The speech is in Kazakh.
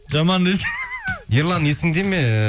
жаман ерлан есіңде ме